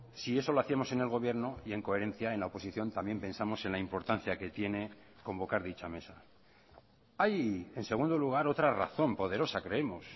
si eso lo hacíamos en el gobierno y en coherencia en la oposición también pensamos en la importancia que tiene convocar dicha mesa hay en segundo lugar otra razón poderosa creemos